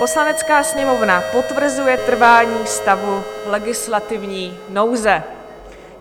"Poslanecká sněmovna potvrzuje trvání stavu legislativní nouze."